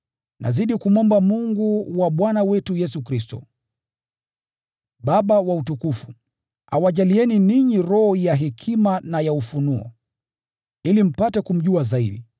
Nazidi kumwomba Mungu wa Bwana wetu Yesu Kristo, Baba wa utukufu, awajalieni ninyi roho ya hekima na ya ufunuo, ili mpate kumjua zaidi.